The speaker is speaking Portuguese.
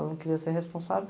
Ela não queria ser responsável.